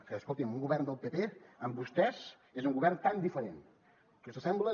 que escoltin un govern del pp amb vostès és un govern tan diferent que s’assemblen